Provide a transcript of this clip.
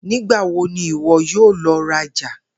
Nigbawo ni iwọ yoo lọ raja?